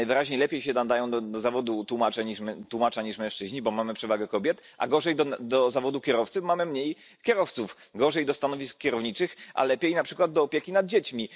Najwyraźniej lepiej się nadają do zawodu tłumacza niż mężczyźni, bo mamy przewagę kobiet, a gorzej do zawodu kierowcy, bo mamy mniej kierowców kobiet. Gorzej do stanowisk kierowniczych, a lepiej na przykład do opieki nad dziećmi.